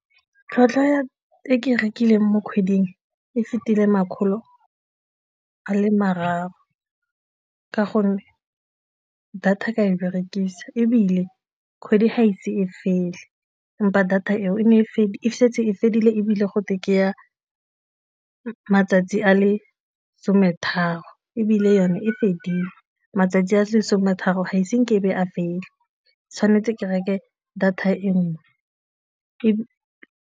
Tlhwatlhwa e ke e rekileng mo kgweding e fetile makgolo a le mararo ka gonne data ka e berekisa ebile kgwedi ga ise e fele empa data eo e ne e setse e fedile ebile go teng ke ya matsatsi a le some tharo ebile yone e fedile matsatsi a lesome tharo ga ise a fela, tshwanetse ke reke data e nngwe.